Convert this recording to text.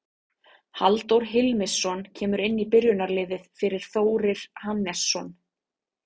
Halldór Hilmisson kemur inn í byrjunarliðið fyrir Þórir Hannesson.